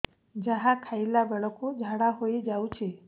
ଯାହା ଖାଇଲା ବେଳକୁ ଝାଡ଼ା ହୋଇ ଯାଉଛି